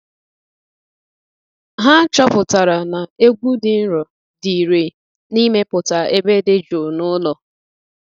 Ha chọpụtara na egwu dị nro dị irè n’imepụta ebe dị jụụ n’ụlọ.